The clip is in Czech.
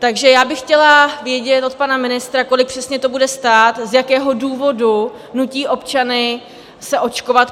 Takže já bych chtěla vědět od pana ministra, kolik přesně to bude stát, z jakého důvodu nutí občany se očkovat.